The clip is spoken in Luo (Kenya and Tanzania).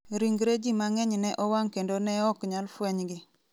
Ringre ji mang'eny ne owang ' kendo ne ok nyal fwenygi.